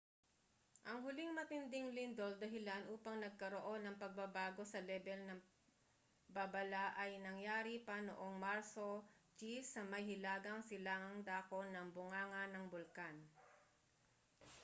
ang huling matinding lindol dahilan upang nagkaroon ng pagbabago sa lebel ng babala ay nangyari pa noong marso 10 sa may hilagang silangang dako ng bunganga ng bulkan